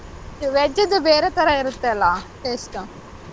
Veg ದು ಬೇರೆ ತರ ಇರುತ್ತೆ ಅಲ್ಲ taste .